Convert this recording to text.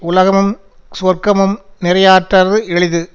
உலகமுஞ் சுவர்க்கமும் நிறையாற்றுத எளிது